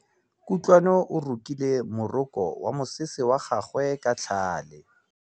Kutlwanô o rokile morokô wa mosese wa gagwe ka tlhale.